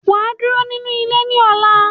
Waa duro ninu ile ni ola.